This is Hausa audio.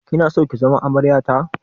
Kina so ki zama amarya ta?